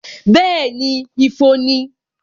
Bẹẹni, ifo ni